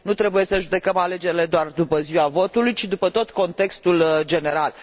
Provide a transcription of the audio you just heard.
Nu trebuie să judecăm alegerile doar după ziua votului, ci după tot contextul general.